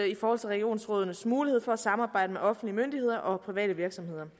i forhold til regionsrådenes mulighed for at samarbejde med offentlige myndigheder og private virksomheder